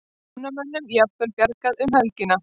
Námamönnum jafnvel bjargað um helgina